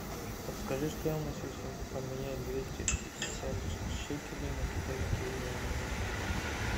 подскажи стоимость если поменять двести пятьдесят шекелей на китайские юани